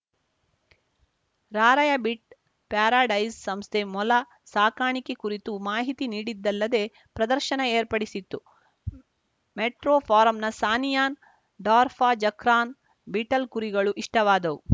rabbit paradise ಸಂಸ್ಥೆ ಮೊಲ ಸಾಕಾಣಿಕೆ ಕುರಿತು ಮಾಹಿತಿ ನೀಡಿದ್ದಲ್ಲದೇ ಪ್ರದರ್ಶನ ಏರ್ಪಡಿಸಿತ್ತು ಮೆಟ್ರೋ ಫಾರಂನ ಸಾನಿಯಾನ್‌ ಡಾರ್‌ಫರ್‌ಜಕ್ರಾನ್ ಬೀಟಲ್‌ ಕುರಿಗಳು ಇಷ್ಟವಾದವು